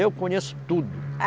Eu conheço tudo.